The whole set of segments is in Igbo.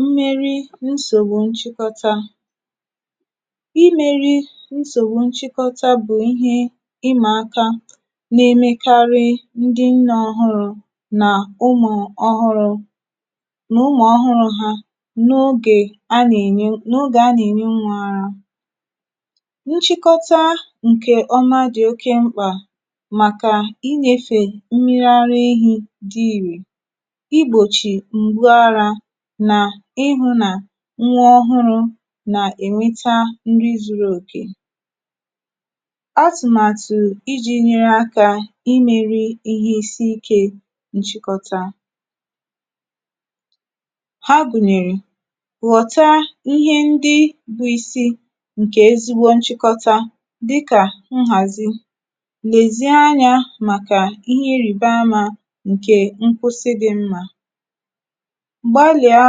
mmeri nsògbu nchịkọta, imēri nsògbu nchịkọta bụ̀ ihe ịmà akā na emekarị ndị nnē ọhụrụ̄ nà ụmụ̀ ọhụrụ̄, na ụmụ̀ ọhụrụ ha, n’ogè, n’ogè a nà ènye nwā ara. nchịkọta ǹkè ọma dị̀ oke mkpà, màkà inyēfè mmiri ara ehī dị ìrè, ị gbòchì m̀gbu arā, nà ịhụ̄ nà nwa ọhụrụ̄ nà ènweta nri zuru òke. atụ̀màtụ̀ ijī nyere akā, imēri ihẹ isi ikē nchịkọta. ha gùnyèrè: ghọ̀ta ihe ndị bụ isi, ǹkè ezigbo nchịkọta, dịkà nhàzi, lèzie anyā màkà ịhẹ ịrịbamā, ǹkè nkwụsị dị̄ mmā. gbalị̀a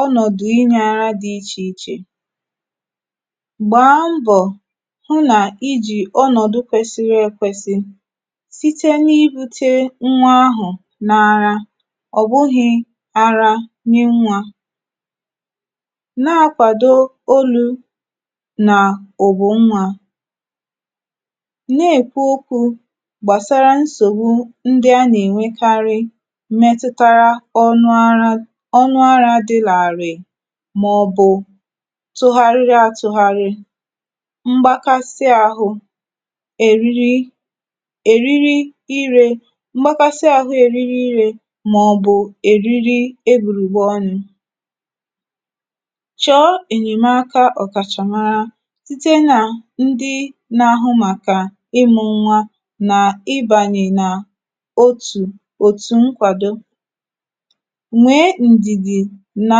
ọnọ̀dụ ịnyị arụ dị̄ ichè ichè. gbàa mbọ̀, hụ nà ijì ọnọ̀dụ kwẹsịrị ekwẹsị, site n’ịdute nwa ahụ̀ n’ara, ọ̀ bụghị̄ ara nye nwā. na akwàdo olū nà ụ̀bụ̀ nwā. nà èkwu okwū gbàsara nsògbu ndị a nà ènwekarị mmẹtụtara ọnụ ara, ọnụ arā dị̄ làrị̀ị̀, mà ọ̀ bụ̀ tụgharịa atụgharị, mgbakasị ahụ, èriri, èriri ire, mgbakasị ahụ èriri ire, mà ọ̀ bụ̀ èriri egbùrùgbè ọnụ̄. chọ̀ọ ènyèmaka ọ̀kàchàmara, site nà ndị na ahụ màkà ịmụ̄ nwa, nà ịbànyè nà otù òtù nkwado. nwẹ̀ẹ ndìdì nà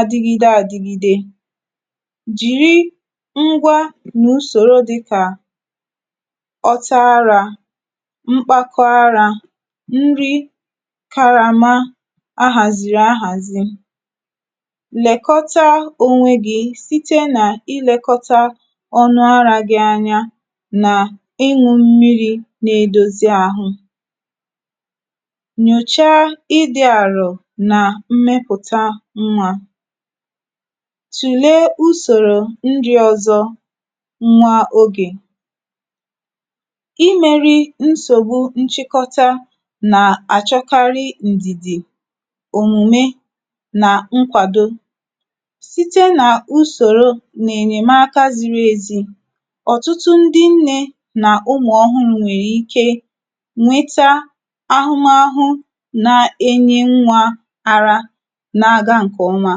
adigide adigide. jìri ngwa na usòro dịkà ọta arā, mkpakọ arā, nri karama ahàzìrì ahàzi. nẹ̀kọta onwe gi, site nà ịlẹkọta ọnụ arā gị anya, nà ịnwụ̄ mmirī na edozi ahụ. ǹyòcha ịdị̄ àrọ̀ nà mmẹpụ̀tà nwā. tùlee usòro ndị ọzọ nwa ogè. imēri nsògbu nchịkọta nà àchọkarị ǹdìdì. òmùme nà nkwàdo. site nà usòro nà ènyẹ̀maka ziri ezi, ọ̀tụtụ ndị nnē nà ụmụ̀ ọhụrụ̄ nwèrè ike nweta ahụmahụ nà enye nwā ara, nà aga ǹkè ọma.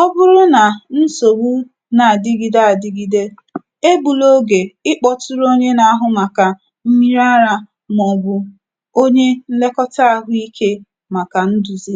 ọ bụrụ nà nsògbu nà àdigide adigide, e gbula ogè ị kpọtụrụ onye na ahụ màkà mmiri arā, mà ọ̀ bụ̀ onye nnẹkọta ahụ ikē, màka ndùzi.